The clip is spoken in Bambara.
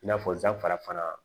I n'a fɔ zanfara fana